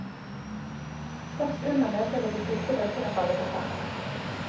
Først under møtet vil de siste brikkene falle på plass.